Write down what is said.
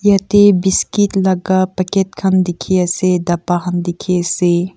jatte biscuit laga package khan dekhi ase tapa khan dekhi ase.